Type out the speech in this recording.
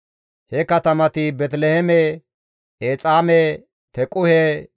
He katamati Beeteliheeme, Exaame, Tequhe,